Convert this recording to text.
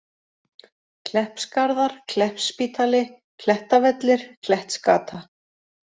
Kleppsgarðar, Kleppsspítali, Klettavellir, Klettsgata